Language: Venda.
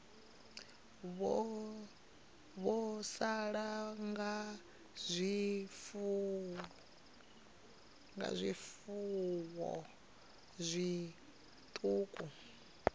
vho sala nga zwifuwo zwiṱuku